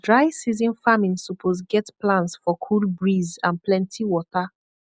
dry season farming suppose get plans for cool breeze and plenty water